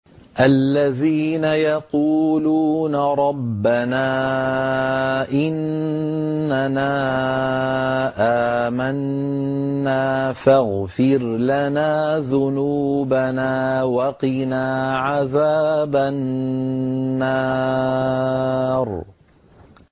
الَّذِينَ يَقُولُونَ رَبَّنَا إِنَّنَا آمَنَّا فَاغْفِرْ لَنَا ذُنُوبَنَا وَقِنَا عَذَابَ النَّارِ